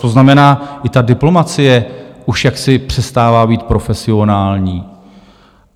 To znamená, i ta diplomacie už jaksi přestává být profesionální.